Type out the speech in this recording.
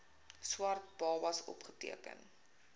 swart babas opgeteken